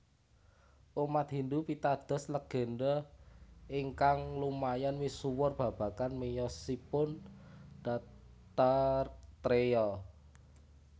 Umat Hindu pitados legénda ingkang lumayan misuwur babagan miyosipun Dattatreya